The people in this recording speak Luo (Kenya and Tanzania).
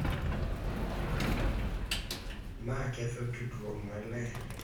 Ma ketho tudruok maler.